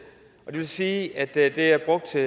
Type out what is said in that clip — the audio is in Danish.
vil sige at det er brugt til